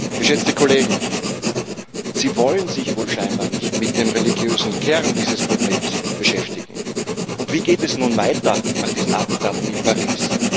Geschätzte Kollegen, Sie wollen sich wohl scheinbar nicht mit dem religiösen Kern dieses Problems beschäftigen. Wie geht es nun weiter nach diesen Attentaten in Paris?